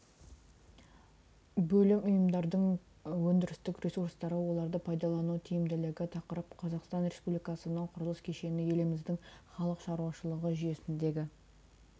бөлім ұйымдардың өндірістік ресурстары оларды пайдалану тиімділігі тақырып қазақстан республикасының құрылыс кешені еліміздің халық шаруашылығы жүйесіндегі